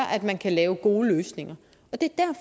at man kan lave gode løsninger det